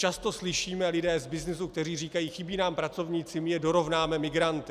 Často slyšíme lidi z byznysu, kteří říkají: chybí nám pracovníci, my je dorovnáme migranty.